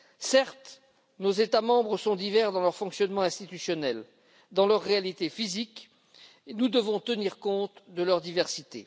Certes, nos États membres sont différents dans leur fonctionnement institutionnel et dans leur réalité physique, et nous devons tenir compte de cette diversité.